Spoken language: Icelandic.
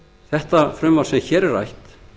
þetta frumvarp sem hér er rætt